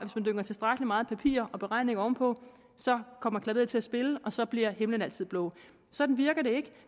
man dynger tilstrækkelig meget papir og beregninger oven på så kommer klaveret til at spille og så bliver himlen altid blå sådan virker det ikke